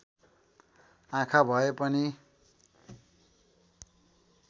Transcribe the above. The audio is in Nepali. आँखा भए पनि